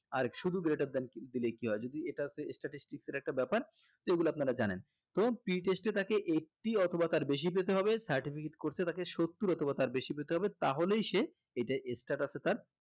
আর শুধু greater than দিলে কি হয় যদি এটার যে statistics এর একটা ব্যাপার এগুলা আপনারা জানেন তো pre test এ তাকে eighty অথবা তার বেশি পেতে হবে certificate course এ তাকে সত্তর অথবা তার বেশি পেতে হবে তাহলেই সে এতে status এ তার